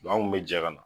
an kun bɛ jɛ ka na